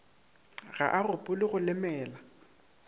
ga a gopole go lemela